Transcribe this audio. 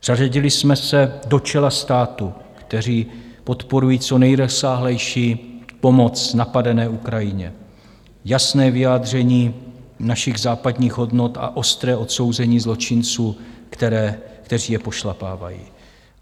Zařadili jsme se do čela států, které podporují co nejrozsáhlejší pomoc napadené Ukrajině, jasné vyjádření našich západních hodnot a ostré odsouzení zločinců, kteří je pošlapávají.